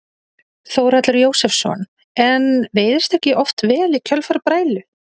Þórhallur Jósefsson: En veiðist ekki oft vel í kjölfar brælu?